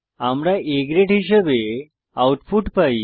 আমরা A grade হিসাবে output পাই